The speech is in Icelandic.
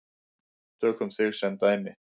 Tökum þig sem dæmi.